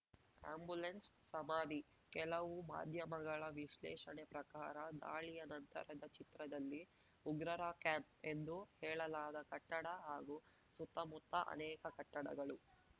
ಆ್ಯಂಬುಲೆನ್ಸ್‌ಸಮಾಧಿ ಕೆಲವು ಮಾಧ್ಯಮಗಳ ವಿಶ್ಲೇಷಣೆ ಪ್ರಕಾರ ದಾಳಿಯ ನಂತರದ ಚಿತ್ರದಲ್ಲಿ ಉಗ್ರರ ಕ್ಯಾಂಪ್‌ ಎಂದು ಹೇಳಲಾದ ಕಟ್ಟಡ ಹಾಗೂ ಸುತ್ತಮುತ್ತ ಅನೇಕ ಕಟ್ಟಡಗಳು